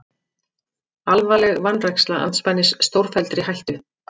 Alvarleg vanræksla andspænis stórfelldri hættu